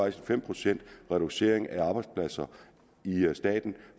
en fem procents reducering af arbejdspladser i staten